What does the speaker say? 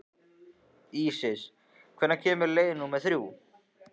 Ísis, hvenær kemur leið númer þrjú?